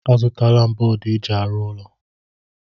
Azụtala m bọọdụ eji arụ ụlọ.